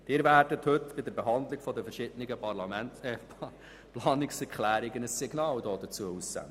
Sie werden heute bei der Behandlung der verschiedenen Planungserklärungen dazu ein Signal aussenden.